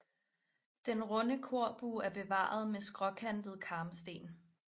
Den runde korbue er bevaret med skråkantede karmsten